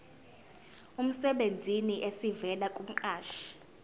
emsebenzini esivela kumqashi